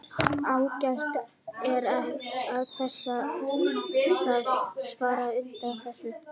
Ágætt er að lesa það svar á undan þessu.